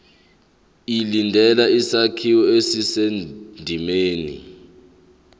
ilandele isakhiwo esisendimeni